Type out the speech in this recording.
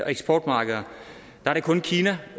eksportmarkeder er det kun kina